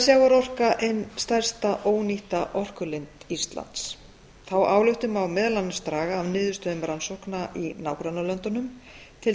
sjávarorka ein stærsta ónýtta orkulind íslands þá ályktun má meðal annars draga af niðurstöðum rannsókna í nágrannalöndunum til